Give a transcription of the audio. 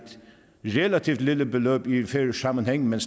relativt lille beløb i en færøsk sammenhæng men